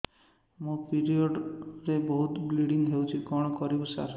ମୋର ପିରିଅଡ଼ ରେ ବହୁତ ବ୍ଲିଡ଼ିଙ୍ଗ ହଉଚି କଣ କରିବୁ ସାର